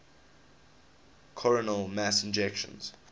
coronal mass ejections